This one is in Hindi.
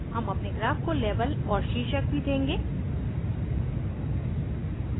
हम अपने ग्राफ को लेबल और शीर्षक भी देंगे